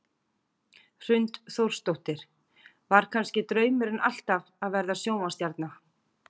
Hrund Þórsdóttir: Var kannski draumurinn alltaf að verða sjónvarpsstjarna?